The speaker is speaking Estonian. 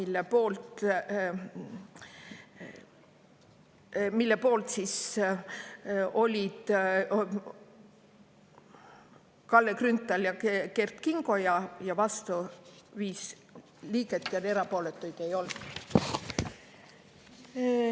Selle poolt olid Kalle Grünthal ja Kert Kingo ning vastu 5 liiget ja erapooletuid ei olnud.